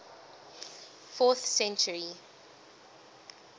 fourth century